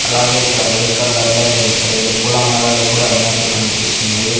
అలాగే ఇక్కడ వైట్ కలర్లో లెండ్ రెండు పూలమాలలు కూడా ఉన్నట్టు కనిపిస్తున్నాయి.